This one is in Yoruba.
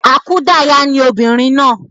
Àkúdayà ni obìnrin náà